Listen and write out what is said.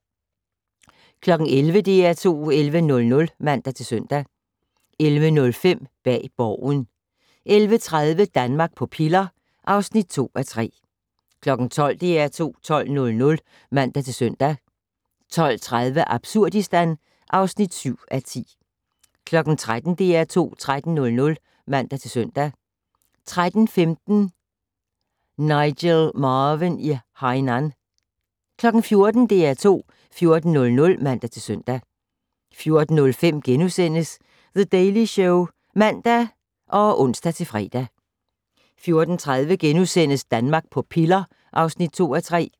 11:00: DR2 11:00 (man-søn) 11:05: Bag Borgen 11:30: Danmark på piller (2:3) 12:00: DR2 12:00 (man-søn) 12:30: Absurdistan (7:10) 13:00: DR2 13:00 (man-søn) 13:15: Nigel Marven i Hainan 14:00: DR2 14:00 (man-søn) 14:05: The Daily Show *(man og ons-fre) 14:30: Danmark på piller (2:3)*